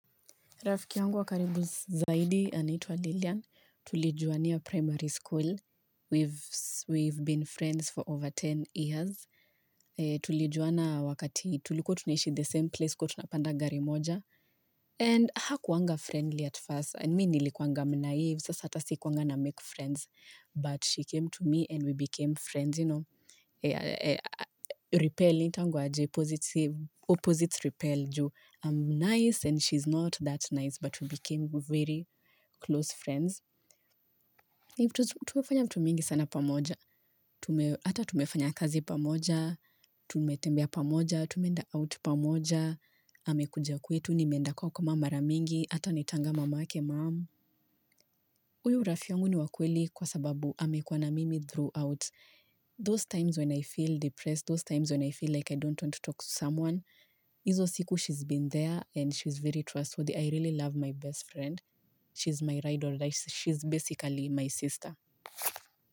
Rafiki yangu wa karibu zaidi, anaitwa Lilian. Tulijuwania primary school. We've been friends for over 10 years. Tulijuwana wakati tulikua tunaishi the same place kuwatunapanda gari moja. And hakuwanga friendly at first. Me nilikuwanga mnaive. Sasa ata sikuwanga namake friends. But she came to me and we became friends, you know. Repel, inaitwangwa aje, opposite repel ju. I'm nice and she's not that nice but we became very close friends. Tukafanya vitu mingi sana pamoja ata tumefanya kazi pamoja tumetembea pamoja tumeenda out pamoja amekuja kwetu nimeenda kwao kama mara mingi ata naitanga mamake mum Uyu rafiangu ni wa kweli kwa sababu amekuwa na mimi throughout those times when I feel depressed those times when I feel like I don't want to talk to someone izo siku she's been there and she's very trustworthy I really love my best friend. She's my ride or die. She's basically my sister.